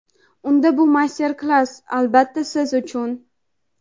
unda bu master-klass albatta siz uchun.